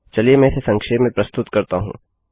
चलिए मैं इसे संक्षेप में प्रस्तुत करता हूँ